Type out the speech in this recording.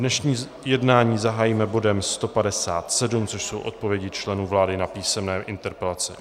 Dnešní jednání zahájíme bodem 157, což jsou odpovědi členů vlády na písemné interpelace.